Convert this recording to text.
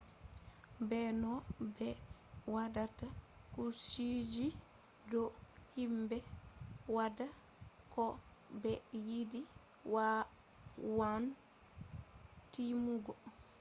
be no be watta kujeji do himbe wada ko be yidi wawan timmugo